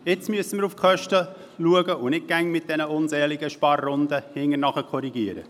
Jetzt müssen wir auf die Kosten schauen und nicht immer mit diesen unseligen Sparrunden hinterher korrigieren.